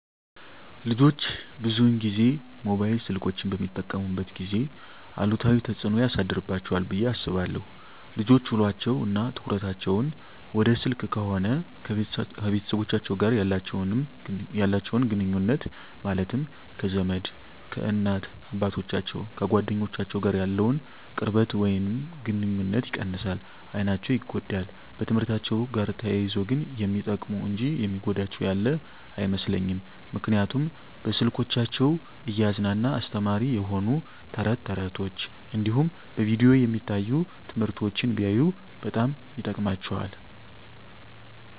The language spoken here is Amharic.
ልጆች ብዙን ጊዜ ሞባይል ስልኮችን በሚጠቀሙበት ጊዜ አሉታዊ ተፅዕኖ ያሳድርባቸዋል ብየ አስባለሁ። ልጆች ውሎቸው እና ትኩረታቸውን ወደ ስልክ ከሆነ ከቤተሰቦቻቸው ጋር ያላቸውን ግኑኙነት ማለትም ከዘመድ፣ ከእናት አባቶቻቸው፣ ከጓደኞቻቸው ጋር ያለውን ቅርበት ወይም ግኑኝነት ይቀንሳል፣ አይናቸው ይጎዳል፣ በትምህርትአቸው ጋር ተያይዞ ግን የሚጠቅሙ እንጂ የሚጎዳቸው ያለ አይመስለኝም ምክንያቱም በስልኮቻቸው እያዝናና አስተማሪ የሆኑ ተረት ተረቶች እንዲሁም በቪዲዮ የሚታዩ ትምህርቶችን ቢያዩ በጣም ይጠቅማቸዋል።